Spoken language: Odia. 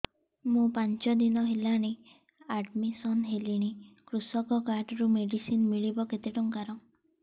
ମୁ ପାଞ୍ଚ ଦିନ ହେଲାଣି ଆଡ୍ମିଶନ ହେଲିଣି କୃଷକ କାର୍ଡ ରୁ ମେଡିସିନ ମିଳିବ କେତେ ଟଙ୍କାର